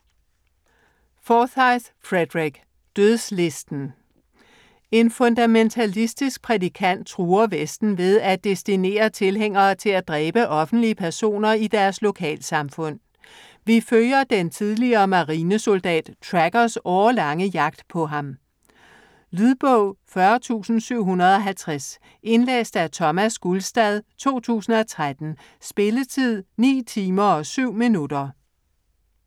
Forsyth, Frederick: Dødslisten En fundamentalistisk prædikant truer vesten ved at destinere tilhængere til at dræbe offentlige personer i deres lokalsamfund. Vi følger den tidligere marinesoldat, 'Trackers' årelange jagt på ham. Lydbog 40750 Indlæst af Thomas Gulstad, 2013. Spilletid: 9 timer, 7 minutter.